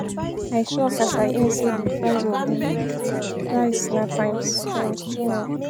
I shock as I hear sey di price of di rice na times times two now.